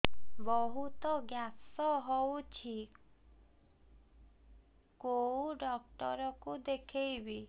ବହୁତ ଗ୍ୟାସ ହଉଛି କୋଉ ଡକ୍ଟର କୁ ଦେଖେଇବି